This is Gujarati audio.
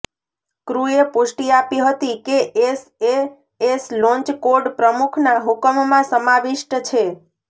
ક્રૂએ પુષ્ટિ આપી હતી કે એસએએસ લોન્ચ કોડ પ્રમુખના હુકમમાં સમાવિષ્ટ છે